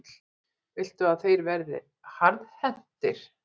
Viltu að þeir verði harðhentir?